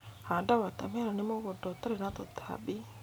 Handa wota meroni mũgũnda ũtarĩ na tũtambi.